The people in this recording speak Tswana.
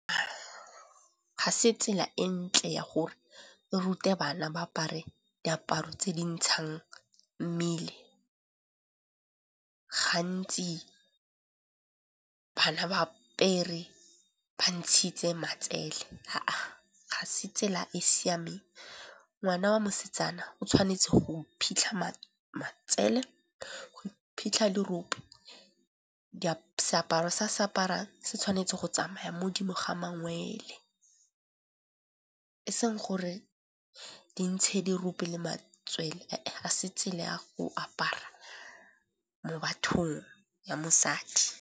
Ga se tsela e ntle ya gore re rute bana ba apare diaparo tse di ntshang mmele. Gantsi bana ba apere ba ntshitse matsele. Ga se tsela e siameng, ngwana wa mosetsana o tshwanetse go iphitlha matsele, go iphitlha dirope, seaparo se a se aparang se tshwanetse go tsamaya modimo ga mangwele. E seng gore di ntshe dirope le matswele a se tsela ya go apara mo bathong ya mosadi.